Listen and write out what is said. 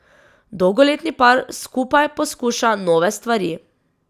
Dolgoletni par skupaj poskuša nove stvari.